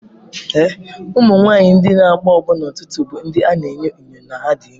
Ụmụ nwanyị ndị na-agbọ agbọ n'ụtụtụ bụ ndị a na-enyo enyo na ha dị ime.